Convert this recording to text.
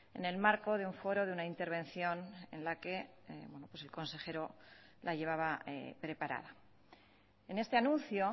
en el marco de un foro de una intervención en la que el consejero la llevaba preparada en este anuncio